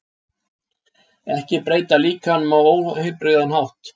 Ekki breyta líkamanum á óheilbrigðan hátt